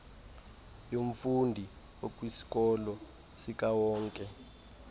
yomfundi okwisikolo sikawonke